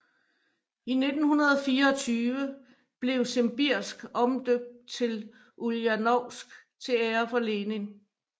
I 1924 blev Simbirsk omdøbt til Uljanovsk til ære for Lenin